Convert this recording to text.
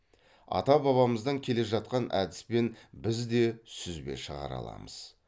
ата бабамыздан келе жақан әдіспен біз де сүзбе шығара аламыз